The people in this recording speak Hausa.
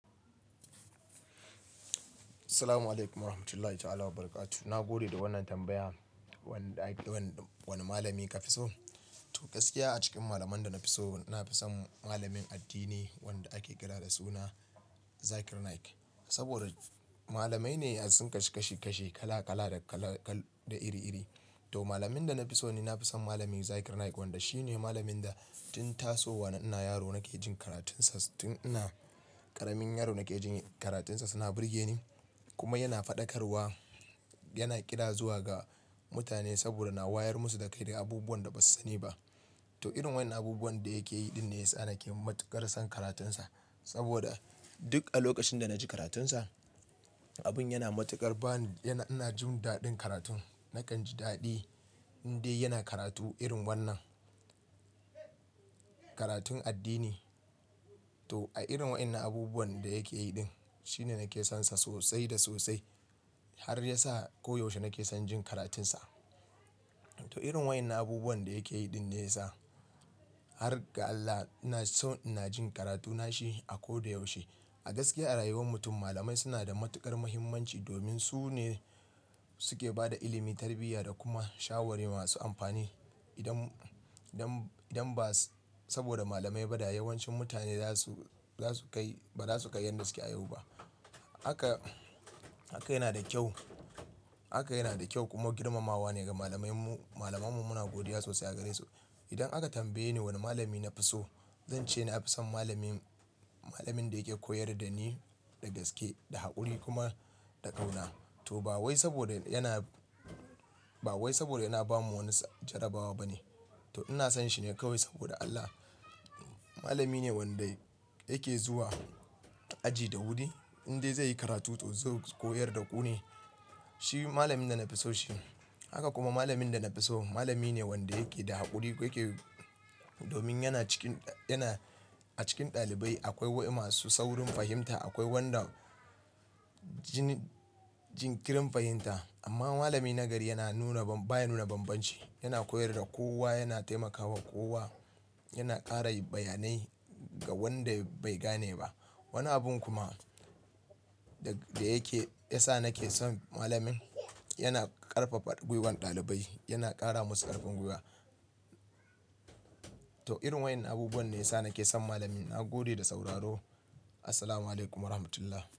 Assalamu'alaikum warahmatullahi ta'ala wa barakatu. Na gode da wannan tambaya. Wani da, wani malami ka fi so? To gaskiya a cikin malaman da na fi so, na fi son malamin addini wanda ake kira da suna Zakir Naik. Saboda malamai ne sun kashe kashe kashe kala kala da kala kal, da iri iri. To malamin da na fi so ne, na fi son malamin Zakir Naik wanda shi ne malamin da tun tasowa na ina yaro nake jin karatunsa tun ina ƙaramin yaro nake jin karatunsa suna burge ni. Kuma yana faɗakarwa, yana ƙira zuwa ga mutane saboda na wayar musu da kai da abubuwan da ba su sani ba. To irin wani abubuwan da yake yi din ne ya sa nake matuƙar son karatunsa. Saboda duk a lokacin da na ji karatunsa, abin yana matuƙar ba ni, yana, ina jin daɗin karatun. Nakan ji daɗi in dai yana karatu irin wannan. Karatun addini. To a irin waɗannan abubuwan da yake yi din, shine nake sonsa sosai da sosai. Har ya sa koyaushe nake son jin karatunsa. To irin waɗannan abubuwan da yake yi din ne ya sa har ga Allah ina so ina jin karatuna shi a koyda yaushe. A gaskiya a rayuwar mutum malamai suna da matuƙar muhimmanci domin su ne suke ba da ilimi, tarbiyya da kuma shawara masu amfani. Idan, idan, idan ba saboda malamai ba dayawan cin mutane za su, za su kai, ba za su kai yadda suke a yau ba. Haka, haka yana da kyau. Haka yana da kyau kuma girmamawa ne ga malamai mu, malamanmu muna godiya sosai a gare su. Idan aka tambaye ni wani malami na fi so, zan ce na fi son malamin, malamin da yake koyar da ni da gaske, da haƙuri kuma da ƙauna. To ba wai saboda yana, ba wai saboda yana ba mu wani jarabawa ba ne. To ina son shi ne kawai saboda Allah. Malami ne wanda yake zuwa aji da wuri in dai zai yi karatu to zai koyar da ƙune. Shi malamin da na fi so shi haka kuma malamin da na fi so malami ne wanda yake da haƙuri. Wa yake, domin yana cikin, yana a cikin ɗalibai akwai wa masu saurin fahimta, akwai wanda jin, jinkirin fahimta. Amma malami na gari yana nuna ban, baya nuna bambanci. Yana koyar da kowa, yana taimakawa kowa, yana ƙara bayanai ga wanda bai gane ba. Wani abun kuma da yake, ya sa nake son malamin yana ƙarfafa guiwar ɗalibai, yana ƙara musu ƙarfin guiwa. To irin waɗannan abubuwan ne ya sa nake son malamin. Na gode da sauraro Assalamu'alaikum warahmatullah.